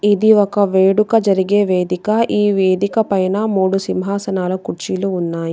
ఇది ఒక వేడుక జరిగే వేదిక. ఈ వేదిక పైన మూడు సింహాసనాల కుర్చీలు ఉన్నాయి.